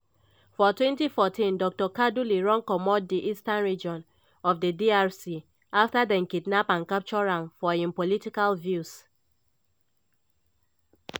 for 2014 dr kaduli run comot di eastern region of di drc afta dem kidnap and capture am for im political views.